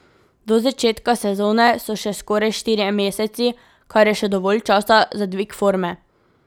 Do začetka sezone so še skoraj štirje meseci, kar je še dovolj časa za dvig forme.